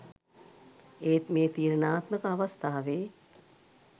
ඒත් මේ තීරණාත්මක අවස්ථාවේ